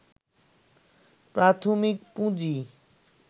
প্রাথমিক পুঁজি